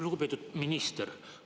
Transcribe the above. Lugupeetud minister!